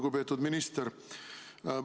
Lugupeetud minister!